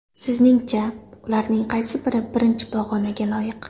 Sizningcha, ularning qaysi biri birinchi pog‘onaga loyiq?